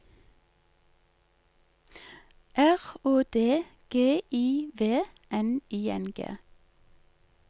R Å D G I V N I N G